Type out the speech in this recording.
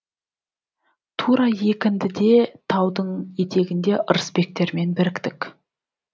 тура екіндіде таудың етегінде ырысбектермен біріктік